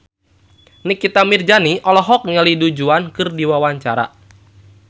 Nikita Mirzani olohok ningali Du Juan keur diwawancara